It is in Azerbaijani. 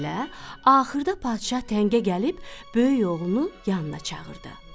axırda padşah təngə gəlib, böyük oğlunu yanına çağırdı.